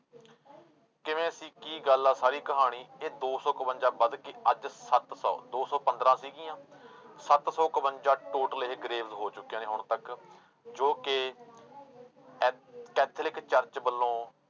ਕਿਵੇਂ ਸੀ ਕੀ ਗੱਲ ਆ ਸਾਰੀ ਕਹਾਣੀ ਇਹ ਦੋ ਸੌ ਇਕਵੰਜਾ ਵੱਧ ਕੇ ਅੱਜ ਸੱਤ ਸੌ ਦੋ ਸੌ ਪੰਦਰਾਂ ਸੀਗੀਆਂ ਸੱਤ ਸੌ ਇਕਵੰਜਾ total ਇਹ graves ਹੋ ਚੁੱਕੀਆਂ ਨੇ ਹੁਣ ਤੱਕ ਜੋ ਕਿ ਇਹ ਕੈਥੋਲਿਕ church ਵੱਲੋਂ